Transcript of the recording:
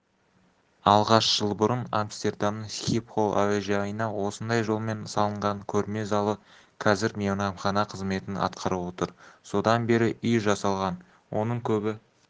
алғаш жыл бұрын амстердамныңсхипхол әуежайына осындай жолмен салынған көрме залы қазір мейрамхана қызметін атқарып отыр содан бері үй жасалған оның көбі